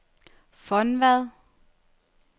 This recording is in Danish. Fonvad